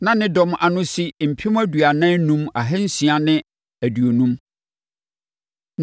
Na ne dɔm ano si mpem aduanan enum ahansia ne aduonum (45,650).